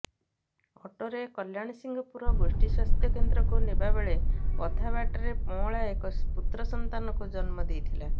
ଅଟୋରେ କଲ୍ୟାଣସିଂହପୁର ଗୋଷ୍ଠୀ ସ୍ୱାସ୍ଥ୍ୟକେନ୍ଦ୍ରକୁ ନେବା ବେଳେ ଅଧା ବାଟରେ ପଅଁଳା ଏକ ପୁତ୍ର ସନ୍ତାନକୁ ଜନ୍ମ ଦେଇଥିଲା